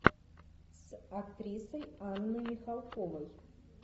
с актрисой анной михалковой